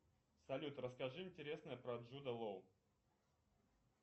салют расскажи интересное про джуда лоу